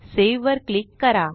सेव्हवर click करा